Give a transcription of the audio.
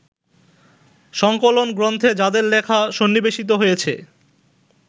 সংকলনগ্রন্থে যাঁদের লেখা সন্নিবেশিত হয়েছে